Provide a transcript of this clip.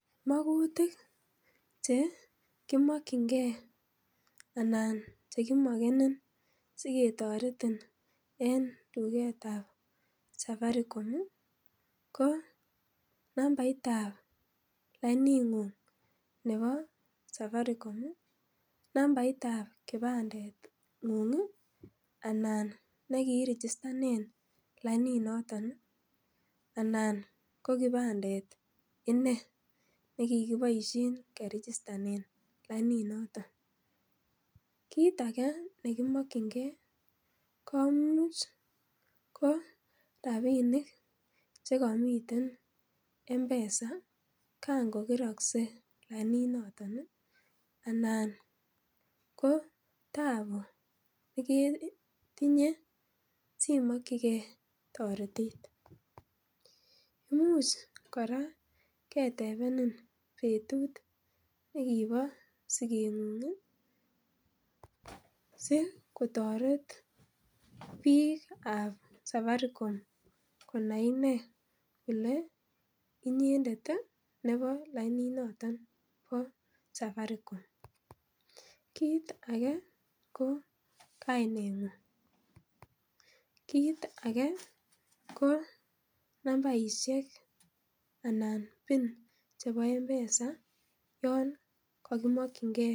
Mgutik chekimokyingee anan chekimokenen siketoretin en tugetab safaricom ii koo nambaitab lainingung nebo safaricom, nambaitab kipandengung ii anan laini nekiiregistenen laini noton anan kikipandet inei nekikiboisien keregistenen laini noton, kit age nekimokyingee komuch ko rapinik chekomii M-pesa kangokerokse laini noton ii anan koo tabu neketinye simokyigee toretet, imuch kora ketebenen betut nekiposigeng'ung ii sikotoret biikab safaricom, konai inei kole inyendet ii nebo laininoton bo safaricom, kit age ko kaineng'ung, kit age ko nambaisiek anan pin chebo M-pesa yon kokimokyingee.